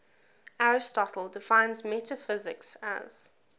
aristotle defines metaphysics as